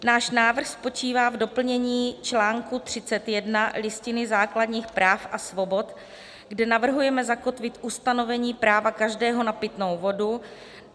Náš návrh spočívá v doplnění článku 31 Listiny základních práv a svobod, kde navrhujeme zakotvit ustanovení práva každého na pitnou vodu.